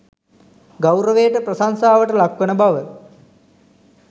ගෞරවයට, ප්‍රශංසාවට ලක්වන බව